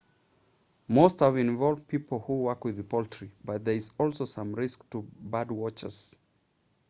most have involved people who work with poultry but there is also some risk to birdwatchers